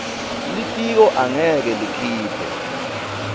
litiko angeke likhiphe